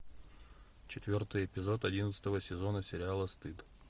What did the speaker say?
четвертый эпизод одиннадцатого сезона сериала стыд